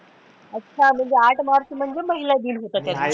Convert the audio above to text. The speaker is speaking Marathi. अच्छा म्हणजे आठ मार्च म्हणजे महिला दिन होता तेव्हा